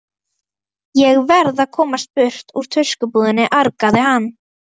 Ég verð að komast burt úr tuskubúðinni, argaði hann.